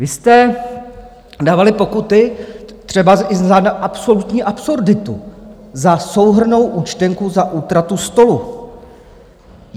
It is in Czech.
Vy jste dávali pokuty třeba i za absolutní absurditu - za souhrnnou účtenku za útratu stolu.